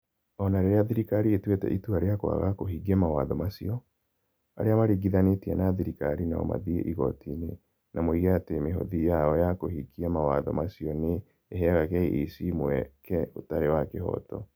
O na rĩrĩa thirikari ĩtuĩte itua rĩa kwaga kũhingia mawatho macio, arĩa maringithanĩtie na thirikari no mathiĩ igoti-inĩ na moige atĩ mĩhothi yao ya kũhingia mawatho macio nĩ ĩheaga KEC mweke ũtarĩ wa kĩhooto.